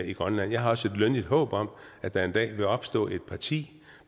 i grønland jeg har også et lønligt håb om at der en dag vil opstå et parti